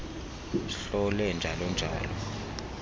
hlole njalo njalo